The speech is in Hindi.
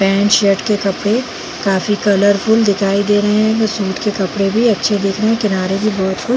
पैंट शर्ट के कपड़े काफी कलरफुल दिखाई दे रहे हैं शूट के कपड़े भी अच्छे दिख रहे हैं किनारे भी बहुत कुछ--